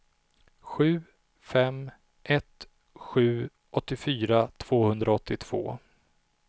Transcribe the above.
sju fem ett sju åttiofyra tvåhundraåttiotvå